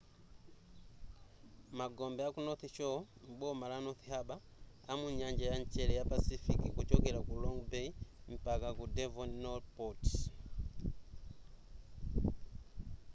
magombe aku north shore m'boma la north harbour amu nyanja ya mchere ya pacific kuchokela ku long bay mpaka ku devonport